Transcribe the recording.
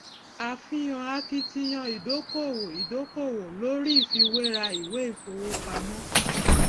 àfihàn akitiyan ìdókòwò ìdókòwò lórí ìfiwéra ìwé ìfowópamọ